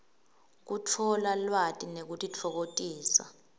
kutfola lwati nekutitfokotisa